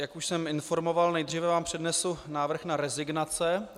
Jak už jsem informoval, nejdříve vám přednesu návrh na rezignace.